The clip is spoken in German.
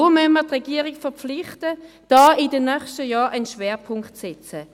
Deshalb müssen wir die Regierung verpflichten, hier in den nächsten Jahren einen Schwerpunkt zu setzen.